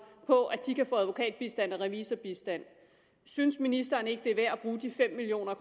på at de kan få advokatbistand og revisorbistand synes ministeren ikke at det er værd at bruge de fem million